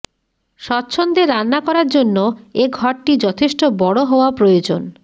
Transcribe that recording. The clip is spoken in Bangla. স্বচ্ছন্দে রান্না করার জন্য এ ঘরটি যথেষ্ট বড় হওয়া প্রয়োজন